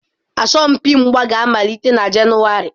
Asọmpi mgba ga-amalite na Jenụwarị.